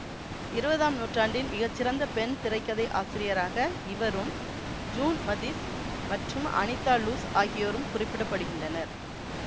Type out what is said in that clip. இருவதாம் நூற்றாண்டின் மிகச்சிறந்த பெண் திரை கதை ஆசிரியராக இவரும் ஜூன் மதிஸ் மற்றும் அனிதா லூஸ் ஆகியோரும் குறிப்பிட படுகின்றனர்